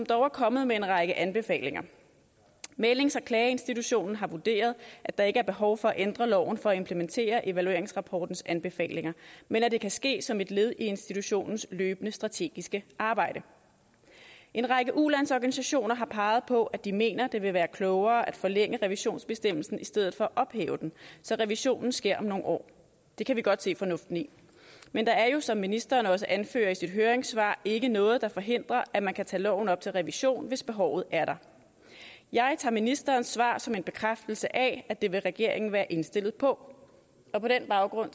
dog er kommet en række anbefalinger mæglings og klageinstitutionen har vurderet at der ikke er behov for at ændre loven for at implementere evalueringsrapportens anbefalinger men at det kan ske som et led i institutionens løbende strategiske arbejde en række ulandsorganisationer har peget på at de mener at det vil være klogere at forlænge revisionsbestemmelsen i stedet for at ophæve den så revisionen sker om nogle år det kan vi godt se fornuften i men der er jo som ministeren også anfører i sit høringssvar ikke noget der forhindrer at man kan tage loven op til revision hvis behovet er der jeg tager ministerens svar som en bekræftelse af at det vil regeringen være indstillet på og på den baggrund